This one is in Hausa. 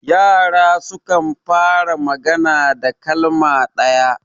yara sukan fara magana da kalma ɗaya